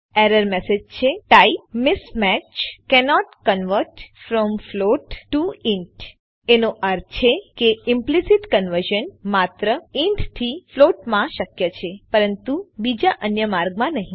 error message છે type mismatch cannot convert from float T O int એનો અર્થ છે કે ઈમ્પલીસીટ કન્વર્ઝન માત્ર ઇન્ટ થી ફ્લોટ માં શક્ય છે પરંતુ બીજા અન્ય માર્ગમાં નહી